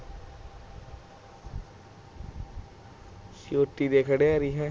ਚੋਟੀ ਦੇ ਖਿਡਾਰੀ ਹਾਂ